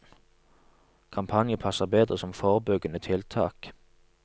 Kampanjen passer bedre som forebyggende tiltak.